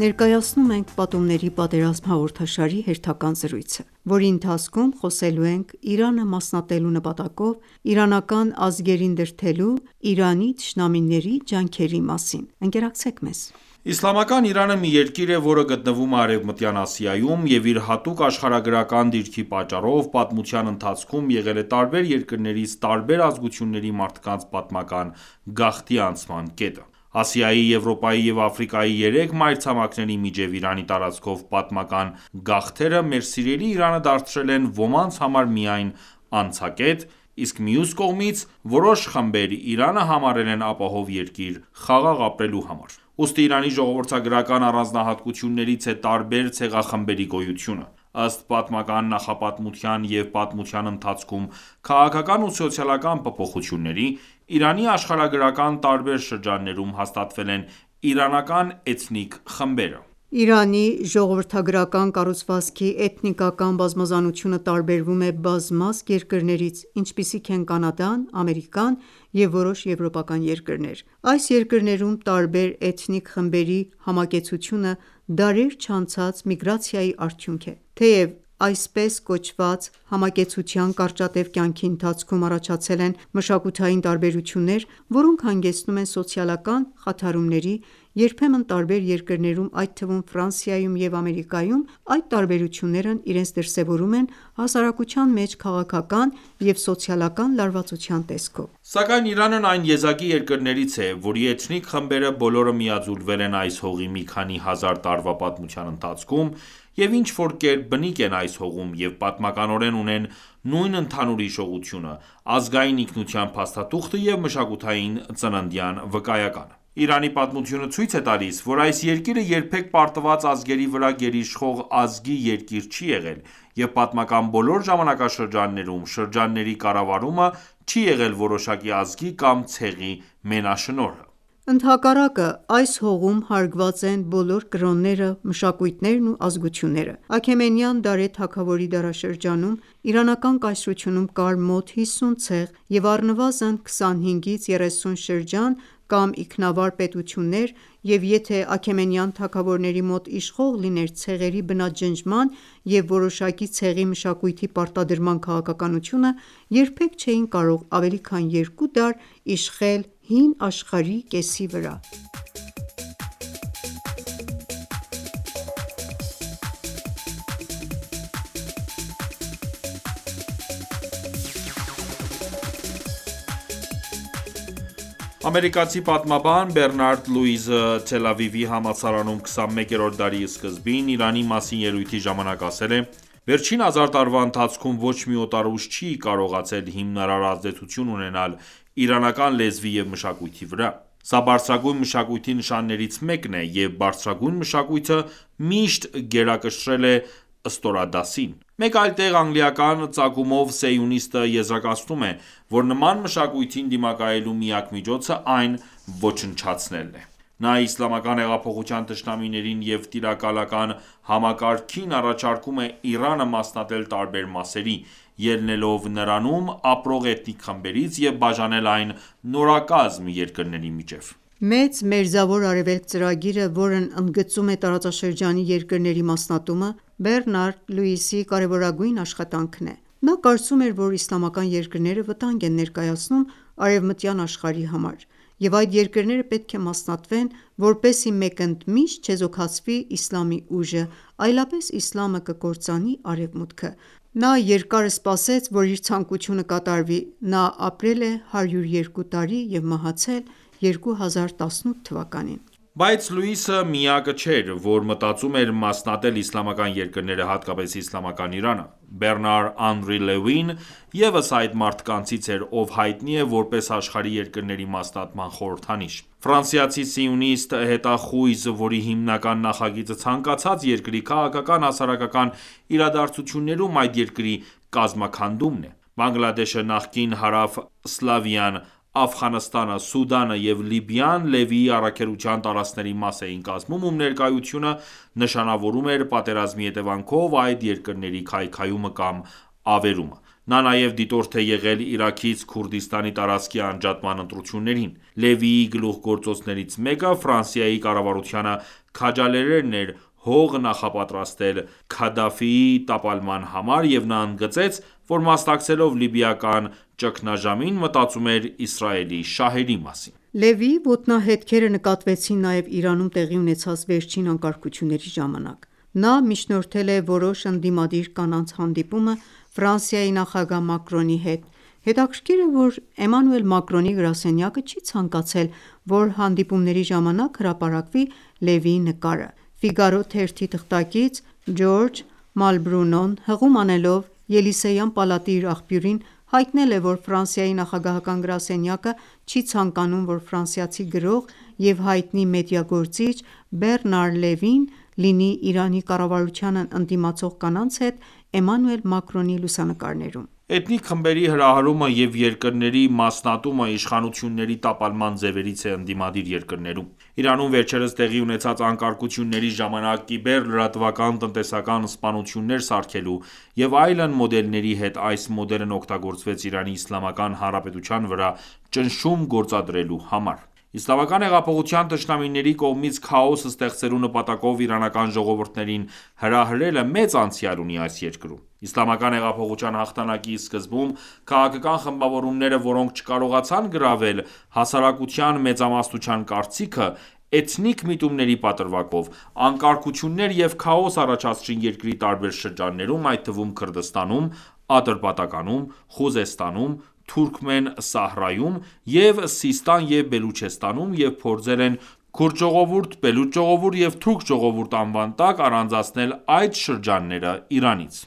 Ներկայացնում ենք «Պատումների պատերազմ» հաղորդաշարի հերթական զրույցը: Այս հաղորդման ընթացքում խոսելու ենք Իրանը մասնատելու նպատակով իրանական ազգերին դրդելու Իրանի թշնամիների ջանքերի մասին: Իսլամական Իրանը մի երկիր է, որը գտնվում է Արևմտյան Ասիայում, և իր հատուկ աշխարհագրական դիրքի պատճառով պատմության ընթացքում եղել է տարբեր երկրներից տարբեր ազգությունների մարդկանց պատմական գաղթի անցման կետը: Ասիայի, Եվրոպայի և Աֆրիկայի երեք մայրցամաքների միջև Իրանի տարածքով պատմական գաղթերը մեր սիրելի Իրանը դարձրել են ոմանց համար միայն անցակետ, իսկ մյուս կողմից՝ որոշ խմբեր Իրանը համարել են ապահով երկիր խաղաղ ապրելու համար: Ուստի Իրանի ժողովրդագրական առանձնահատկություններից է տարբեր ցեղախմբերի գոյությունը։ Ըստ պատմական նախապատմության և պատմության ընթացքում քաղաքական ու սոցիալական փոփոխությունների՝ Իրանի աշխարհագրական տարբեր շրջաններում հաստատվել են իրանական էթնիկ խմբերը։ Իրանի ժողովրդագրական կառուցվածքի էթնիկական բազմազանությունը տարբերվում է բազմազգ երկրներից, ինչպիսիք են Կանադան, Ամերիկան և որոշ եվրոպական երկրներ: Այս երկրներում տարբեր էթնիկ խմբերի համակեցությունը դարեր չանցած միգրացիայի արդյունք է։ Թեև այսպես կոչված, համակեցության կարճատև կյանքի ընթացքում առաջացել են մշակութային տարբերություններ, որոնք հանգեցնում են սոցիալական խաթարումների, երբեմն տարբեր երկրներում, այդ թվում Ֆրանսիայում և Ամերիկայում, այդ տարբերություններն իրենց դրսևորում են հասարակության մեջ քաղաքական և սոցիալական լարվածության տեսքով: Սակայն Իրանն այն եզակի երկրներից է, որի էթնիկ խմբերը բոլորը միաձուլվել են այս հողի մի քանի հազար տարվա պատմության ընթացքում և ինչ-որ կերպ բնիկ են այս հողում և պատմականորեն ունեն նույն ընդհանուր հիշողությունը, ազգային ինքնության փաստաթուղթը և մշակութային ծննդյան վկայականը: Իրանի պատմությունը ցույց է տալիս, որ այս երկիրը երբեք պարտված ազգերի վրա գերիշխող ազգի երկիր չի եղել, և պատմական բոլոր ժամանակաշրջաններում շրջանների կառավարումը չի եղել որոշակի ազգի կամ ցեղի մենաշնորհը։ Ընդհակառակը, այս հողում հարգված են բոլոր կրոնները, մշակույթներն ու ազգությունները: Աքեմենյան Դարեհ թագավորի դարաշրջանում (Աքեմենյան չորրորդ կայսր մ.թ.ա. 522-486 թթ. կեսերին) Իրանական կայսրությունում կար մոտ 50 ցեղ և առնվազն 25-ից 30 շրջան կամ ինքնավար պետություններ, և եթե աքեմենյան թագավորնեի մոտ իշխող լիներ ցեղերի բնաջնջման և որոշակի ցեղի մշակույթի պարտադրման քաղաքականությունը, երբեք չէին կարող ավելի քան երկու դար իշխել հին աշխարհի կեսի վրա: Ամերիկացի պատմաբան Բեռնարդ Լյուիսը Թել Ավիվի համալսարանում 21-րդ դարի սկզբին, Իրանի մասին ելույթի ժամանակ ասել է. «Վերջին երկու հազար տարվա ընթացքում ոչ մի օտար ուժ չի կարողացել հիմնարար ազդեցություն ունենալ իրանական լեզվի և մշակույթի վրա: Սա բարձրագույն մշակույթի նշաններից մեկն է, և բարձրագույն մշակույթը միշտ գերակշռել է ստորադասին»: Մեկ այլ տեղ անգլիական ծագումով սիոնիստը եզրակացնում է, որ նման մշակույթին դիմակայելու միակ միջոցը այն ոչնչացնելն է: Նա Իսլամական հեղափոխության թշնամիներին և տիրակալական համակարգին առաջարկում է Իրանը մասնատել տարբեր մասերի՝ ելնելով նրանում ապրող էթնիկ խմբերից և բաժանել այն նորակազմ երկրների միջև։ «Մեծ Մերձավոր Արևելք» ծրագիրը, որն ընդգծում է տարածաշրջանի երկրների մասնատումը, Բեռնարդ Լյուիսի կարևորագույն աշխատանքն է։ Նա կարծում էր, որ իսլամական երկրները վտանգ են ներկայացնում արևմտյան աշխարհի համար, և այդ երկրները պետք է մասնատվեն, որպեսզի մեկընդմիշտ չեզոքացվի իսլամի ուժը, այլապես իսլամը կկործանի Արևմուտքը։ Նա երկար սպասեց, որ իր ցանկությունը կատարվի։ Նա ապրել է 102 տարի և մահացել 2018թ.: Բայց Լյուիսը միակը չէր, ով մտածում էր մասնատել իսլամական երկրները, հատկապես իսլամական Իրանը։ Բեռնար-Անրի Լևին ևս այդ մարդկանցից էր, ով հայտնի է որպես աշխարհի երկրների մասնատման խորհրդանիշ: Ֆրանսիացի-սիոնիստ հետախույզ, որի հիմնական նախագիծը ցանկացած երկրի քաղաքական-հասարակական իրադարձություններում, այդ երկրի կազմաքանդումն է։ Բանգլադեշը, նախկին Հարավսլավիան, Աֆղանստանը, Սուդանը և Լիբիան Լևիի առաքելության տարածքների մաս էին կազմում, ում ներկայությունը նշանավորում էր պատերազմի հետևանքով այդ երկրների քայքայումը կամ ավերումը: Նա նաև դիտորդ է եղել Իրաքից Քուրդիստանի տարածքի անջատման ընտրություններին։ Լևիի գլուխգործոցներից մեկը Ֆրանսիայի կառավարությանը քաջալերելն էր հող նախապատրաստել Քադաֆիի տապալման համար, և նա ընդգծեց, որ մասնակցելով լիբիական ճգնաժամին, մտածում էր Իսրայելի շահերի մասին։ Լևիի ոտնահետքերը նկատվեցին նաև Իրանում տեղի ունեցած վերջին անկարգությունների ժամանակ: Նա միջնորդել է որոշ ընդդիմադիր կանանց հանդիպումը Ֆրանսիայի նախագահ Մակրոնի հետ։ Հետաքրքիր է, որ Էմանուել Մակրոնի գրասենյակը չի ցանկացել, որ հանդիպումների ժամանակ հրապարակվի Լևիի նկարը։ «Ֆիգարո» թերթի թղթակից Ժորժ Մալբրունոն, հղում անելով Ելիսեյան պալատի իր աղբյուրին, հայտնել է, որ Ֆրանսիայի նախագահական գրասենյակը չի ցանկանում, որ ֆրանսիացի գրող և հայտնի մեդիա գործիչ Բեռնար Լևին լինի Իրանի կառավարությանն ընդդիմացող կանանց հետ Էմանուել Մակրոնի լուսանկարներում: Էթնիկ խմբերի հրահրումը և երկրների մասնատումը, Իշխանությունների տապալման ձևերից է ընդդիմադիր երկրներում: Իրանում վերջերս տեղի ունեցած անկարգությունների ժամանակ կիբեր, լրատվական, տնտեսական, սպանություններ սարքելու և այլն մոդելների հետ այս մոդելն օգտագործվեց Իրանի Իսլամական Հանրապետության վրա ճնշում գործադրելու համար: Իսլամական հեղափոխության թշնամիների կողմից քաոս ստեղծելու նպատակով իրանական ժողովուրդներին հրահրելը մեծ անցյալ ունի այս երկրում: Իսլամական հեղափոխության հաղթանակի սկզբում քաղաքական խմբավորումները, որոնք չկարողացան գրավել հասարակության մեծամասնության կարծիքը, էթնիկ միտումների պատրվակով, անկարգություններ և քաոս առաջացրին երկրի տարբեր շրջաններում, այդ թվում Քրդստանում, Ատրպատականում, Խուզեստանում, Թուրքմեն Սահարայում և Սիստան և Բելուչեստանում և փորձել են քուրդ ժողովուրդ, բելուչ ժողովուրդ և թուրք ժողովուրդը անվան տակ առանձնացնել այդ շրջանները Իրանից։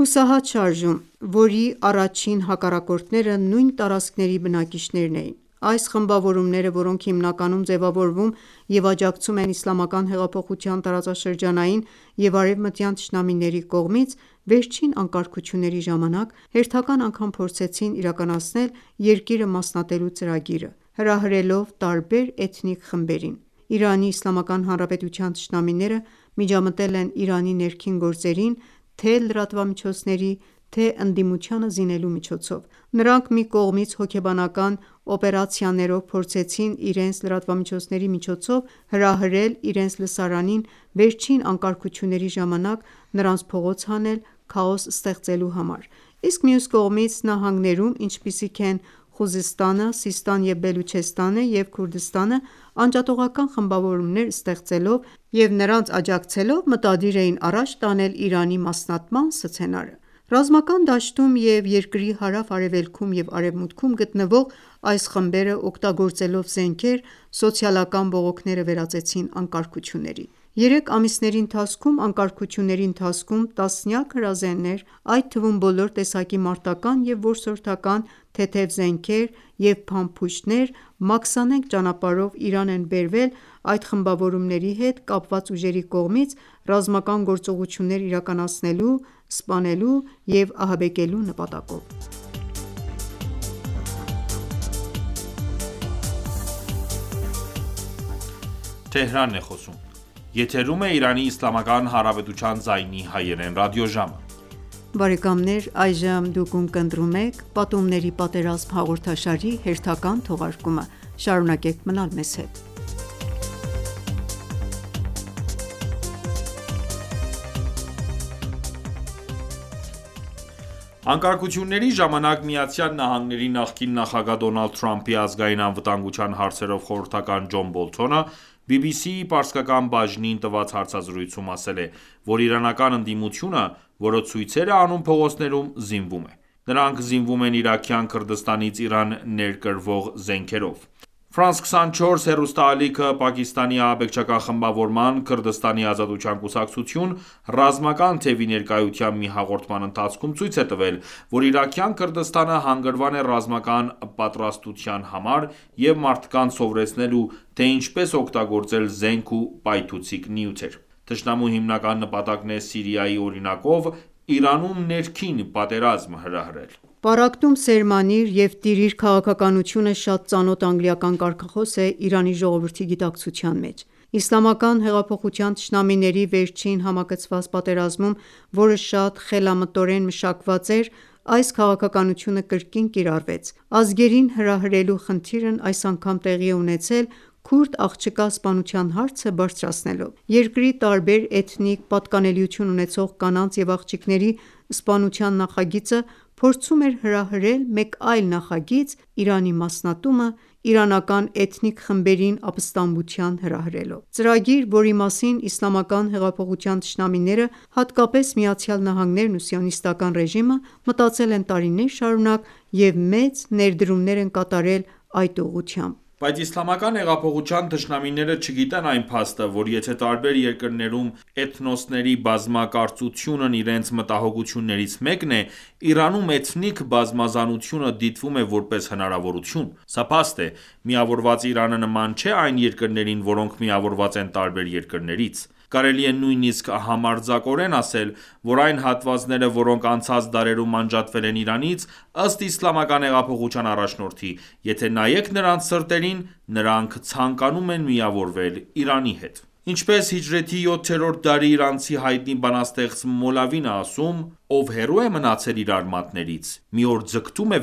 Հուսահատ շարժում, որի առաջին հակառակորդները նույն տարածքների բնակիչներն էին։ Այս խմբավորումները, որոնք հիմնականում ձևավորվում և աջակցվում են Իսլամական հեղափոխության տարածաշրջանային և արևմտյան թշնամիների կողմից, վերջին անկարգությունների ժամանակ հերթական անգամ փորձեցին իրականացնել երկիրը մասնատելու ծրագիրը՝ հրահրելով տարբեր էթնիկ խմբերին։ Իրանի Իսլամական Հանրապետության թշնամիները միջամտել են Իրանի ներքին գործերին թե՛ լրատվամիջոցների, թե՛ ընդդիմությանը զինելու միջոցով: Նրանք մի կողմից հոգեբանական օպերացիաներով փորձեցին իրենց լրատվամիջոցների միջոցով հրահրել իրենց լսարանին վերջին անկարգությունների ժամանակ, նրանց փողոց հանել քաոս ստեղծելու համար, իսկ մյուս կողմից՝ նահանգներում, ինչպիսիք են Խուզեստանը, Սիստան և Բելուչեստանը և Քրդստանը, անջատողական խմբավորումներ ստեղծելով և նրանց աջակցելով մտադիր էին առաջ տանել Իրանի մասնատման սցենարը։ Ռազմական դաշտում և երկրի հարավ-արևելքում և արևմուտքում գտնվող այս խմբերը, օգտագործելով զենքեր, սոցիալական բողոքները վերածեցին անկարգությունների։ Երեք ամիսների ընթացքում անկարգությունների ընթացքում տասնյակ հրազեններ, այդ թվում բոլոր տեսակի մարտական և որսորդական թեթև զենքեր, և փամփուշտներ մաքսանենգ ճանապարհով Իրան են բերվել այդ խմբավորումների հետ կապված ուժերի կողմից՝ ռազմական գործողություններ իրականացնելու, սպանելու և ահաբեկելու նպատակով: Անկարգությունների ժամանակ ԱՄՆ նախկին նախագահ Դոնալդ Թրամփի ազգային անվտանգության հարցերով խորհրդական Ջոն Բոլթոնը BBC-ի պարսկական բաժնին տված հարցազրույցում ասել է, որ իրանական ընդդիմությունը, որը ցույցեր է անում փողոցներում, զինվում է։ Նրանք զինվում են Իրաքյան Քրդստանից Իրան ներկրվող զենքերով։ France 24 հեռուստաալիքը, Պակիստանի ահաբեկչական խմբավորման (Քրդստանի Ազատության կուսակցություն) ռազմական թևի ներկայությամբ մի հաղորդման ընթացքում ցույց է տվել, որ Իրաքյան Քրդստանը հանգրվան է ռազմական պատրաստության համար և մարդկանց սովորեցնելու, թե ինչպես օգտագործել զենք ու պայթուցիկ նյութեր: Թշնամու հիմնական նպատակն է Սիրիայի օրինակով Իրանում ներքին պատերազմ հրահրել: Պառակտում սերմանիր և տիրիր քաղաքականությունը շատ ծանոթ անգլիական կարգախոս է Իրանի ժողովրդի գիտակցության մեջ: Իսլամական հեղափոխության թշնամիների վերջին համակցված պատերազմում, որը շատ խելամտորեն մշակված էր, այս քաղաքականությունը կրկին կիրառվեց։ Ազգերին հրահրելու խնդիրն այս անգամ տեղի է ունեցել քուրդ աղջկա սպանության հարցը բարձրացնելով։ Երկրի տարբեր էթնիկ պատկանելություն ունեցող կանանց և աղջիկների սպանության նախագիծը փորձում էր հրահրել մեկ այլ նախագիծ՝ Իրանի մասնատումը՝ իրանական էթնիկ խմբերին ապստամբության հրահրելով: Ծրագիր, որի մասին իսլամական հեղափոխության թշնամիները, հատկապես ԱՄՆ-ն ու Սիոնիստական ռեժիմը, մտածել են տարիներ շարունակ և մեծ ներդրումներ են կատարել այդ ուղղությամբ: Բայց Իսլամական հեղափոխության թշնամիները չգիտեն այն փաստը, որ եթե տարբեր երկրներում էթնոսների բազմակարծությունն իրենց մտահոգություններից մեկն է, Իրանում էթնիկ բազմազանությունը դիտվում է որպես հնարավորություն։ Սա փաստ է։ Միավորված Իրանը նման չէ այն երկրներին, որոնք միավորված են տարբեր երկրներից: Կարելի է նույնիսկ համարձակորեն ասել, որ այն հատվածները, որոնք անցած դարերում անջատվել են Իրանից, ըստ Իսլամական հեղափոխության առաջնորդի, եթե նայեք նրանց սրտերին, նրանք ցանկանում են միավորվել Իրանի հետ: Ինչպես հիջրեթի յոթերորդ դարի իրանցի հայտնի բանաստեղծ Մոլավին է ասում.«Ով հեռու է մնացել իր արմատներից, մի օր ձգտում է